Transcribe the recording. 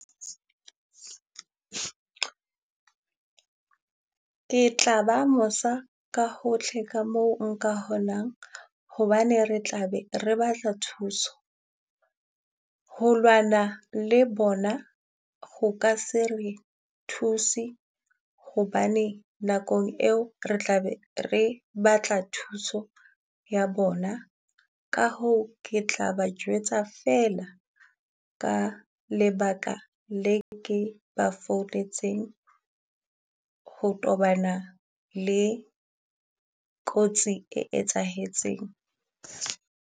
Ke tla ba mosa ka hohle ka moo nka honang hobane re tla be re batla thuso. Ho lwana le bona, ho ka se re thuse hobane nakong eo re tla be re batla thuso ya bona. Ka hoo, ke tla ha ba jwetsa feela ka lebaka le ke ba founetseng ho tobana le kotsi e etsahetseng.